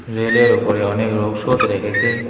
রেলের ওপরে অনেক রৌষদ রেখেছে।